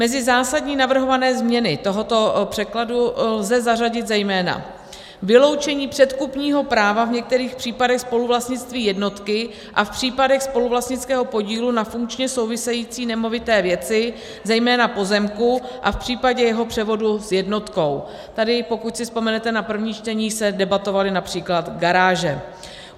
Mezi zásadní navrhované změny tohoto překladu lze zařadit zejména: vyloučení předkupního práva v některých případech spoluvlastnictví jednotky a v případech spoluvlastnického podílu na funkčně související nemovité věci, zejména pozemku, a v případě jeho převodu s jednotkou - tady, pokud si vzpomenete na první čtení, se debatovaly například garáže;